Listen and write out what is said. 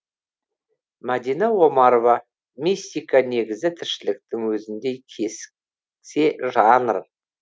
мадина омарова мистика негізі тіршіліктің өзіндей жанр